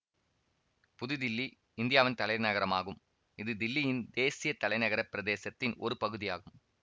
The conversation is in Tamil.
புது தில்லி இந்தியாவின் தலைநகரமாகும் இது தில்லியின் தேசிய தலைநகரப் பிரதேசத்தின் ஒரு பகுதியாகும்